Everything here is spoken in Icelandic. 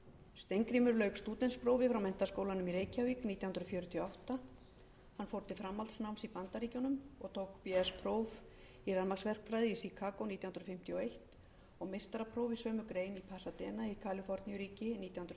steingrímur lauk stúdentsprófi frá menntaskólanum í reykjavík nítján hundruð fjörutíu og átta hann fór til framhaldsnáms í bandaríkjunum tók bs próf í rafmagnsverkfræði í chicago nítján hundruð fimmtíu og eins og meistarapróf í sömu grein í pasadena í kaliforníuríki nítján hundruð